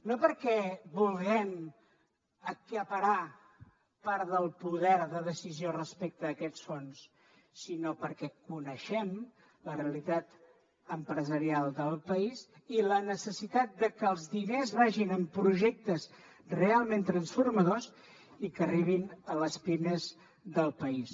no perquè vulguem acaparar part del poder de decisió respecte a aquests fons sinó perquè coneixem la realitat empresarial del país i la necessitat de que els diners vagin a projectes realment transformadors i que arribin a les pimes del país